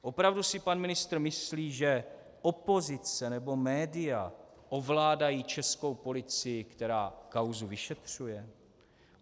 Opravdu si pan ministr myslí, že opozice nebo média ovládají českou policii, která kauzu vyšetřuje?